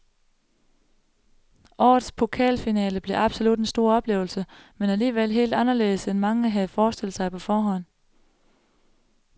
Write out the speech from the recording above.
Årets pokalfinale blev absolut en stor oplevelse, men alligevel helt anderledes end mange havde forestillet sig på forhånd.